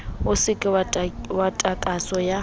e se ka takatso ya